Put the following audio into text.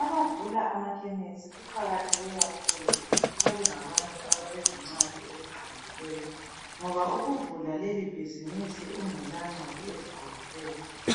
Abavula amakhemesi kuqakatheke kakhulu ukuthi babengabantu abalezincwadi eziqondileyo ngoba ukuvula leli bhizinisi ungela ncwadi eziqondileyo